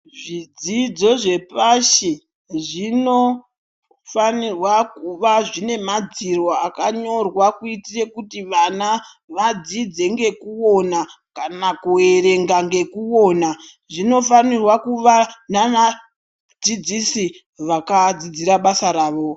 Zvidzidzo zvepashi zvinofanirwa kuva zvine madziro akanyorwa kuitira kuti vana vadzidze ngekuona kana kuverenga ngekuona zvinofanirwa kuva nevadzidzisi vakadzidzira basa ravo.